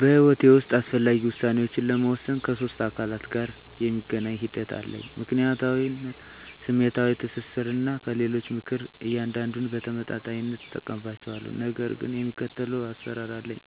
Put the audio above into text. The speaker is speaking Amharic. በሕይወቴ ውስጥ አስፈላጊ ውሳኔዎችን ለመወሰን ከሶስት አካላት ጋር የሚገናኝ ሂደት አለኝ፦ ምክንያታዊነት፣ ስሜታዊ ትስስር፣ እና ከሌሎች ምክር። እያንዳንዱን በተመጣጣኝነት እጠቀምባቸዋለሁ፣ ነገር ግን የሚከተለው አሰራር አለኝ።